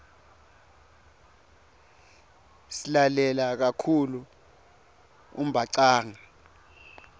silalela kakhulu umbhacanga